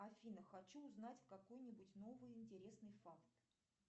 афина хочу узнать какой нибудь новый интересный факт